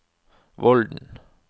Vollen